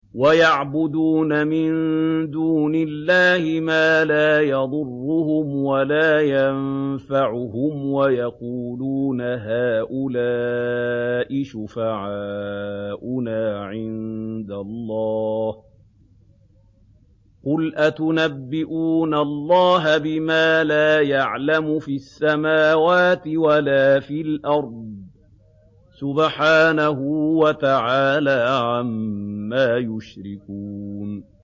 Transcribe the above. وَيَعْبُدُونَ مِن دُونِ اللَّهِ مَا لَا يَضُرُّهُمْ وَلَا يَنفَعُهُمْ وَيَقُولُونَ هَٰؤُلَاءِ شُفَعَاؤُنَا عِندَ اللَّهِ ۚ قُلْ أَتُنَبِّئُونَ اللَّهَ بِمَا لَا يَعْلَمُ فِي السَّمَاوَاتِ وَلَا فِي الْأَرْضِ ۚ سُبْحَانَهُ وَتَعَالَىٰ عَمَّا يُشْرِكُونَ